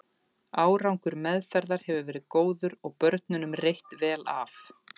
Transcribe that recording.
Árangur meðferðar hefur verið góður og börnunum reitt vel af.